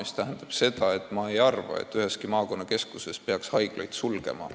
See tähendab seda, et minu arvates ei peaks üheski maakonnakeskuses haiglat sulgema.